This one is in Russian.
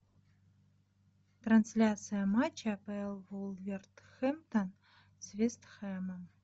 трансляция матча апл вулверхэмптон с вест хэмом